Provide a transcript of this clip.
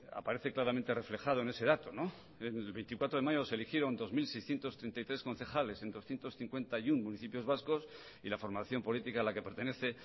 aparece claramente reflejado ese dato el veinticuatro de mayo se eligieron dos mil seiscientos treinta y tres concejales en doscientos cincuenta y uno municipios y la formación política a la que pertenece